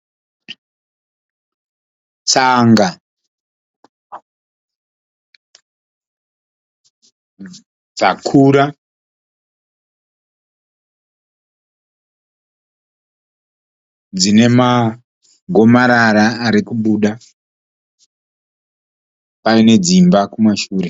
Tsanga dzakura dzine magomarara ari kubuda pane dzimba kumashure.